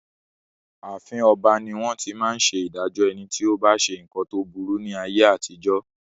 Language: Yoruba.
Ààfin ọba ní wón ti máa ń ṣe ìdájọ́ ẹni tí ó bá ṣe nǹkan tó burú ní ayé àtijó.